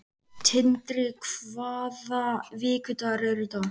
Tindri, hvaða vikudagur er í dag?